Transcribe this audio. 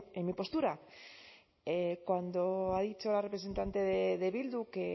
en mi postura cuando ha dicho la representante de bildu que